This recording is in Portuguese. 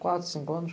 Quatro, cinco anos?